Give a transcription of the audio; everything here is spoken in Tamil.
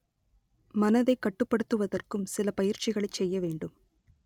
மனதைக் கட்டுப்படுத்துவதற்கும் சில பயிற்சிகளைச் செய்ய வேண்டும்